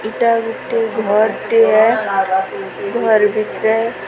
ଏଟା ଗୁଟେ ଘର୍ ଟିଏ ଘର୍ ଭିତ୍ରେ ଘର୍ ଭିତ୍ରେ କବାଟେ ଅଛେ।